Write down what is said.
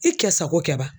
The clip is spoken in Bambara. I kɛ sago kɛ wa